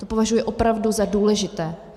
To považuji opravdu za důležité.